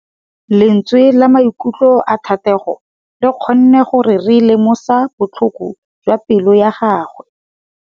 Lentswe la maikutlo a Thategô le kgonne gore re lemosa botlhoko jwa pelô ya gagwe.